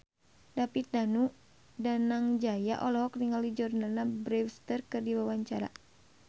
David Danu Danangjaya olohok ningali Jordana Brewster keur diwawancara